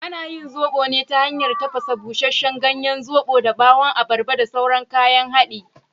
Ana yin zoɓo ne ta hanyar tafasa busasshen ganyen zoɓon da ɓawon abarba da sauran kayan hadadi.